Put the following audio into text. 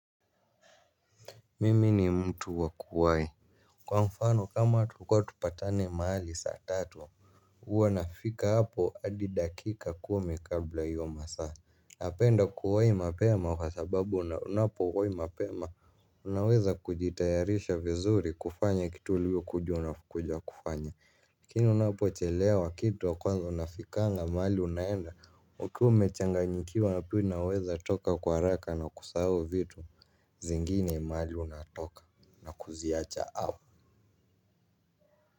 Mimi ni mtu wa kuwai. Kwa mfano kama tulikuwa tupatane mahali saa tatu huwa nafika hapo hadi dakika kumi kabla ya hio masaa. Napenda kuwahi mapema kwa sababu unapowahi mapema. Unaweza kujitayarisha vizuri kufanya kitu uliyo kuja unakuja kufanya lakini unapochelea kitu ya kwanza unafikanga mahali unaenda. Ukiwa umechanganyikiwa na pia unaweza toka kwa haraka na kusahau vitu. Zingine mahali unatoka na kuziacha au.